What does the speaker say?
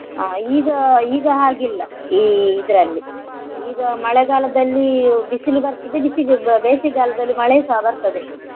ಹಾ ಈಗ ಈಗ ಹಾಗಿಲ್ಲ ಈ ಇದರಲ್ಲಿ ಈಗ ಮಳೆಗಾಲದಲ್ಲಿ ಬಿಸಿಲು ಬರ್ತದೆ ಬಿಸಿಗೆ~ ಬೇಸಿಗೆ ಕಾಲದಲ್ಲಿ ಮಳೆ ಸಹ ಬರ್ತದೆ.